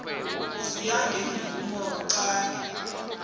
ziya ngemvumo qange